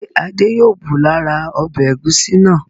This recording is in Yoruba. Ṣé Adé yóò bù lára ọbẹ̀ ẹ̀gúsí náà?